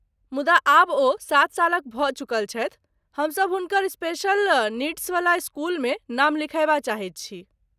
मुदा, आब ओ सात सालक भऽ चुकल छथि, हमसब हुनकर स्पेशल नीड्सवला इस्कूलमे नाम लिखयबा चाहैत छी।